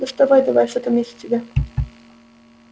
доставай давай что там есть у тебя